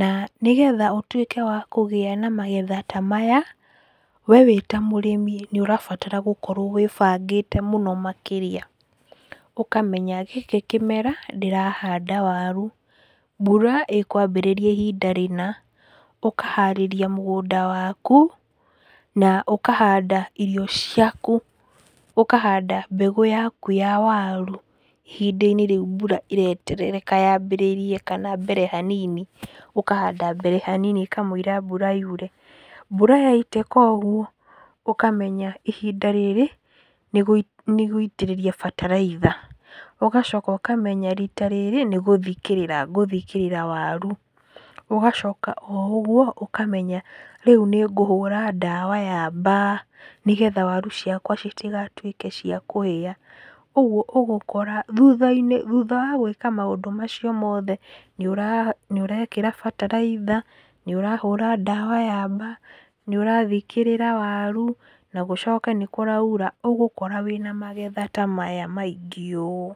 na nĩgetha ũtuĩke wa kũgĩa na magetha ta maya, wee wĩta mũrĩmi nĩũrabatara gũkorwo wĩbangĩte mũno makĩria, ũkamenya gĩkĩ kĩmera ndĩrahanda waru, mbura ĩkwambĩrĩria ihinda rĩna , ũkaharĩria mũgũnda waku na ũkahanda irio ciaku, ũkahanda mbegũ yaku ya waru ihinda rĩu mbura ĩretereka yambĩrĩrie kana mbere hanini, ũkahanda mbere hanini mbere ya mbura yure. Mbura yaitĩka ũguo, ũkamenya ihinda rĩrĩ nĩ gũitĩrĩria bataraitha, ũgacoka ũkamenya rita rĩrĩ nĩgũthikĩrĩra ngũthikĩrĩra waru, ũgacoka o ũguo ũkamenya rĩu nĩngũhũra ndawa ya mbaa, nĩgetha waru ciakwa citigatuĩke cia kũhĩa. Ũguo ũgũkora thutha-inĩ, thutha wa gwĩka maũndũ macio mothe, nĩũrekĩra bataraitha, nĩũrahũra ndawa ya mbaa, nĩũrathikĩrĩra waru na gũcoke nĩ kũraura, ũgũkora wĩ na magetha ta maya maingĩ ũũ.